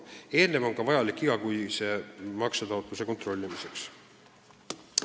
See on vajalik ka igakuise maksetaotluse kontrollimiseks.